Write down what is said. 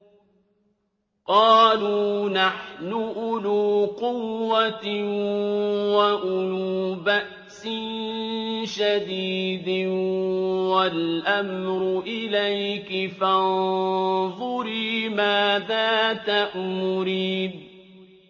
قَالُوا نَحْنُ أُولُو قُوَّةٍ وَأُولُو بَأْسٍ شَدِيدٍ وَالْأَمْرُ إِلَيْكِ فَانظُرِي مَاذَا تَأْمُرِينَ